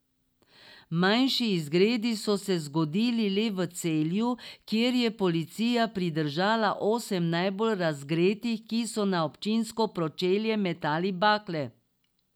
Manjši izgredi so se zgodili le v Celju, kjer je policija pridržala osem najbolj razgretih, ki so na občinsko pročelje metali bakle.